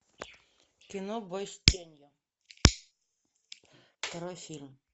кино бой с тенью второй фильм